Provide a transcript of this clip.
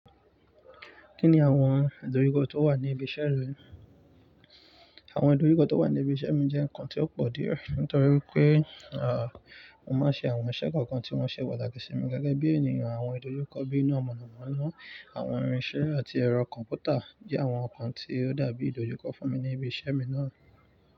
Kí ni àwọn ìdojúkọ tó wà ní ibi iṣẹ́ rẹ? Àwọn ìdojúkọ tó wà ní ibi iṣẹ́ mi jẹ́ nǹkan tí ó pọ̀ díẹ̀ nítorí pé, à, mo máa ń ṣe àwọn iṣẹ́ kọ̀ọ̀kan tí wọ́n ṣe pàtàkì sí mi gẹ́gẹ́ bí ènìyàn. Àwọn ìdojúkọ bíi iná mọ̀nàmọ́ná, àwọn irinṣẹ́ àti ẹ̀rọ kọ̀ǹpútà jẹ́ àwọn nǹkan tí ó dàbí ìdojúkọ fún mi ní ibi iṣẹ́ mi náà.